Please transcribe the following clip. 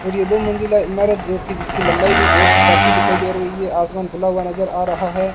और ये दो मंजिला ईमारत जो कि जिसकी लंबाई भी बहोत काफी दिखाई दे रही है आसमान खुला हुआ नजर आ रहा है।